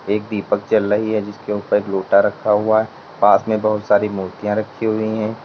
एक दीपक जल रही है जिसके ऊपर लोटा रखा हुआ है पास में बहुत सारी मूर्तियां रखी हुई हैं।